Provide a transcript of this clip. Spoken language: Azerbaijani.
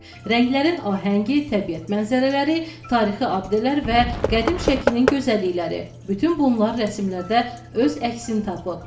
Rənglərin ahəngi, təbiət mənzərələri, tarixi abidələr və qədim Şəkinin gözəllikləri, bütün bunlar rəsmlərdə öz əksini tapıb.